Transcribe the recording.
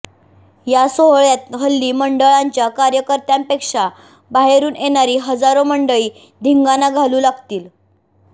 या सोहळ्यांत हल्ली मंडळांच्या कार्यकर्त्यांपेक्षा बाहेरून येणारी हजारो मंडळी धिंगाणा घालू लागलीत